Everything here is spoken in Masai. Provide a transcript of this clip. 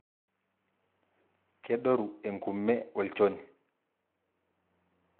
kedoru enkume olchoni,